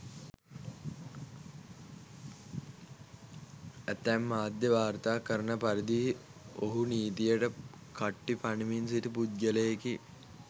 ඇතැම් මාධ්‍ය වාර්තා කරන පරිදි ඔහු නීතියට කට්ටි පනිමින් සිටි පුද්ගලයෙකි.